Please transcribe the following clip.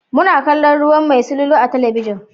Muna kallon ruwan mai silulu a talabijin.